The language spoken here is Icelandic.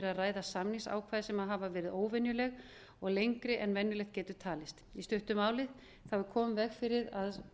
að ræða samningsákvæði sem hafa verið óvenjuleg og lengri en venjulegt getur talist í stuttu máli er komið í veg fyrir að